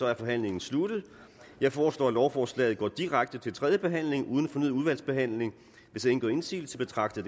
er forhandlingen sluttet jeg foreslår at lovforslaget går direkte til tredje behandling uden fornyet udvalgsbehandling hvis ingen gør indsigelse betragter